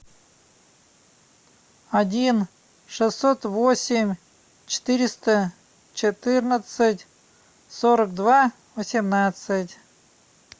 один шестьсот восемь четыреста четырнадцать сорок два восемнадцать